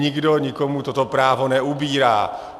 Nikdo nikomu toto právo neubírá.